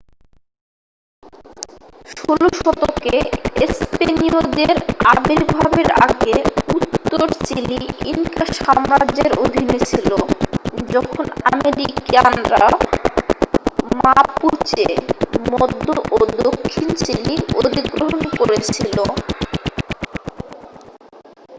16 শতকে স্পেনীয়দের আবির্ভাবের আগে উত্তর চিলি ইনকা সাম্রাজ্যের অধীনে ছিল যখন আরাকেনিয়ানরা মাপুচে মধ্য ও দক্ষিণ চিলি অধিগ্রহণ করেছিল।